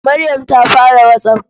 Maryam ta fara WhatsApp.